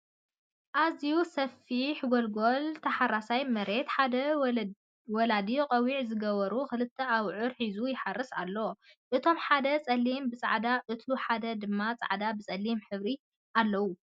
ኣዝዩ ሰፊሕ ጎልጎል ታሓራሳይ መሬትን ሓደ ወላዲ ቆቢዕ ዝገበሩ ክልተ ኣብዑር ሒዞም ይሓርሱ ኣለው። እቱይ ሓደ ፀሊም ብፃዕዳን እቱይ ሓደ ድማ ፃዕዳ ብፀሊም ሕብሪ ኣለዎም።